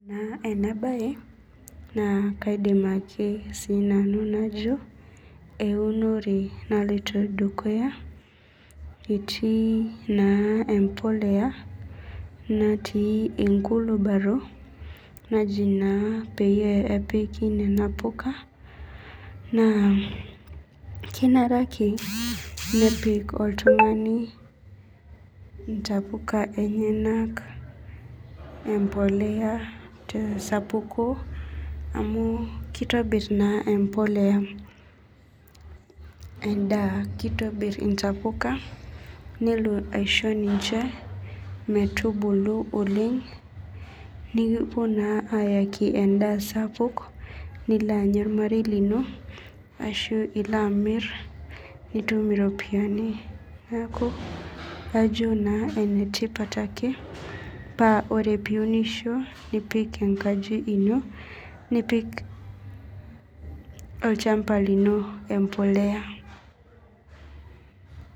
Ore enabaye naa kaidim ake nanu najo eunore naloito dukuya etii naa empoleya natii enkulubaro naji naa peepiki nena puka naa kenare ake nepik oltung'ani intabuka enyanak tesapuko amu keitabir naa empoleya metubulu oleng nikipuo naaa ayaaki enda sapuk nilo anya ormarei lino ashuu ilo amir nitum iropiyiani naa kajo ake enetipat ake paa teneunisho nipik enkaji ino nipik olchamba lino empoleya